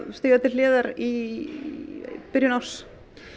stíga til hliðar í byrjun árs